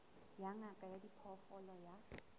ya ngaka ya diphoofolo ya